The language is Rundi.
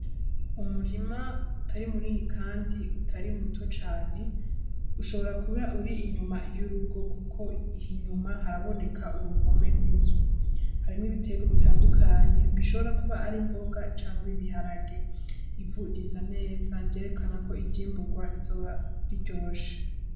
Umurima utari munini kandi utari muto cane, ushobora kuba uri inyuma y'urugo kuko inyuma haraboneka uruhome rw'inzu. Hari n'ibiterwa bitandukanye bishobora kuba ari imboga canke ibiharage. Ivu risa neza ryerekana ko ivyimburwa bizoba biryoshe.